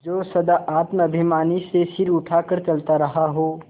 जो सदा आत्माभिमान से सिर उठा कर चलता रहा हो